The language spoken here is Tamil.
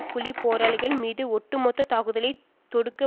புலி போராளிகள் மீது ஒட்டு மொத்த தாக்குதலை தொடுக்க